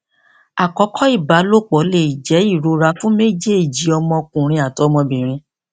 akọkọ ibalopo le jẹ irora fun mejeeji ọmọkunrin ati ọmọbirin